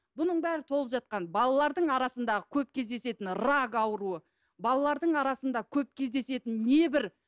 бұның бәрі толып жатқан балалардың арасындағы көп кездесетін рак ауруы балалардың арасында көп кездесетін небір